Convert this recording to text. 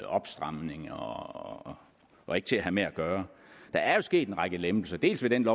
opstramning og og ikke til at have med at gøre der er jo sket en række lempelser dels ved den